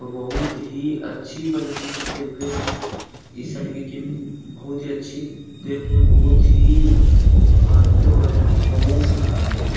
और बहुत ही अच्छी प्रदर्शन करते हुए इस साल की टीम बहुत ही अच्छी देखने में बहुत ही आदमी लोग आए हुए हैं बहुत सारा आदमी लोग --